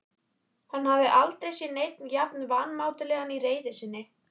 Hann hafði aldrei séð neinn jafn vanmáttugan í reiði sinni.